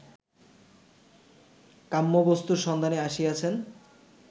কাম্যবস্তুর সন্ধানে আসিয়াছেন